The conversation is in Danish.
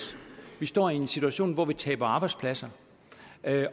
vi står i en situation hvor vi taber arbejdspladser